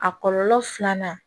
A kɔlɔlɔ filanan